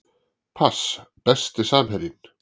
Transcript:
pass Besti samherjinn?